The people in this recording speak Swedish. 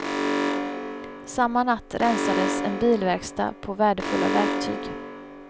Samma natt rensades en bilverkstad på värdefulla verktyg.